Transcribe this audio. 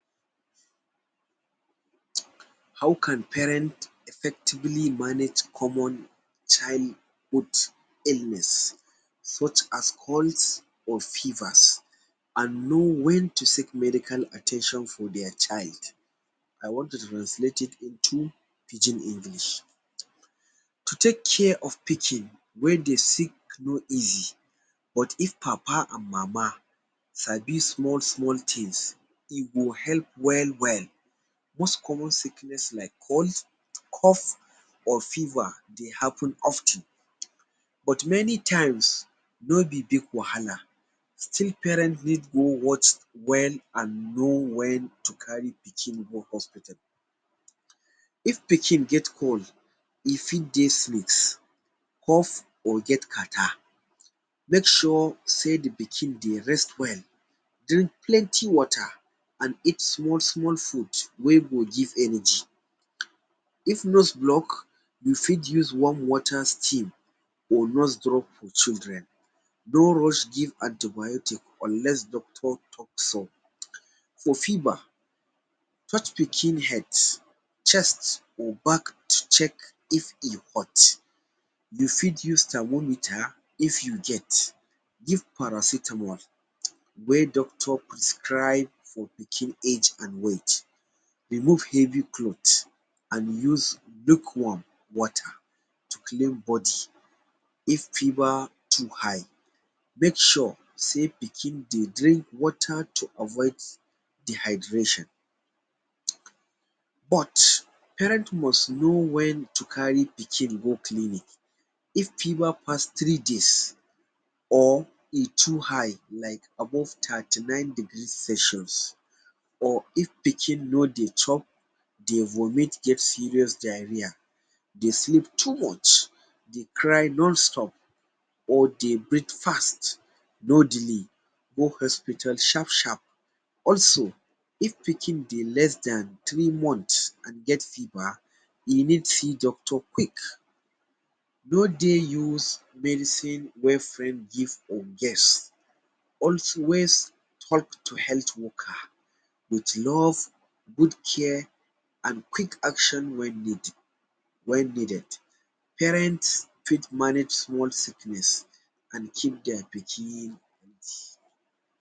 How can parent effectively manage common child growth illness such as cough or fevers and know when to seek medical at ten tion for their child. I want to translate it into pidgin english. To take care of Pikin wey dey sick no easy. But if papa and mama sabi small small things, e go help well well. Once common sickness like cold, cough or fever dey happen of ten but many times, no be big wahala. Still parent need more watch, well and know when to carry pikin go hospital. If pikin get cold, e fit dey sneeze, cough or get catarrh. Make sure sey the pikin dey rest well, drink plenty water and eat small small food wey go give energy. If nose block, you fit use warm water steam or nose drop for children. No rush give anti-biotic unless doctor talk so. For fever, touch pikin head, chest or back to check if e hot. You fit use thermometer if you get, give paracetamol wey doctor prescribe for pikin age and weight, remove heavy cloth and use lukewarm water to clean body if fever too high. Make sure say pikin dey drink water to avoid dehydration. But parent must know when to carry pikin go clinic. If fever pass three days or e too high like above thirty-nine degrees Celsius or if pikin no dey chop, dey vomit or get serious diarrhoea, dey sleep too much, dey cry non-stop or dey breath fast, no delay. Go hospital sharp sharp. Also, if pikin dey less than three month and get fever, e need see doctor quick. No dey use medicine wey friend give or guess. Always talk to health worker with love, good care and quick action wey need wey needed. Parents fit manage small sickness and keep their pikin healthy.